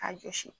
K'a jɔsi